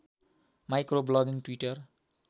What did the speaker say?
micro blogging Twitter